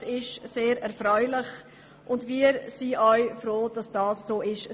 Das ist sehr erfreulich, und wir sind froh darüber.